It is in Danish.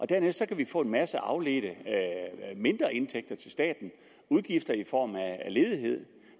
dernæst kan vi få en masse afledte mindre indtægter til staten og udgifter i form af ledighed